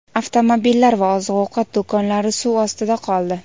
Avtomobillar va oziq-ovqat do‘konlari suv ostida qoldi.